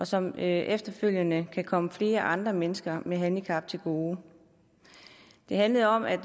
som efterfølgende kan komme flere andre mennesker med handicap til gode det handlede om at